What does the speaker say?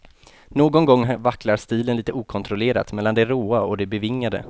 Någon gång vacklar stilen lite okontrollerat mellan det råa och det bevingade.